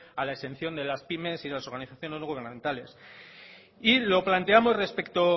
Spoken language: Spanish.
a la exención de las pymes y de las organizaciones no gubernamentales y lo planteamos respecto